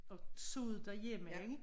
Og så det derhjemme ikke